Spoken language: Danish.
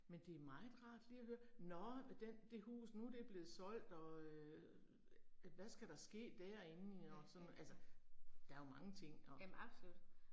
Men det er meget rart lige at høre nåh den det hus, nu er det er blevet solgt og øh hvad skal der ske derinde og sådan, altså der er jo mange ting og